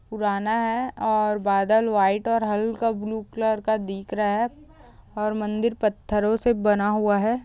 पुराना है और बादल वाइट और हल्का ब्लू कलर का दिख रा ए और मंदिर पत्थरो से बना हुआ है